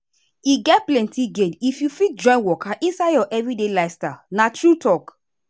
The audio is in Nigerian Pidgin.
e get plenty gain if you fit join waka inside your everyday lifestyle na true talk.